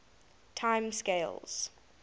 time scales